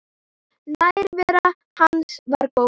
Nærvera hans var góð.